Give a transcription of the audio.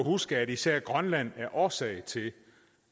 huske at især grønland er årsag til